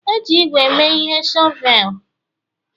E ji ígwè mee ihe shọvel